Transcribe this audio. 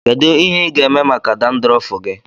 Kedụ ihe ị ga-eme maka dandrọfu gị?